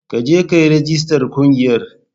Ka je ka yi rijistar ƙungiyar